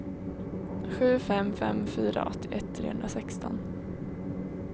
sju fem fem fyra åttioett trehundrasexton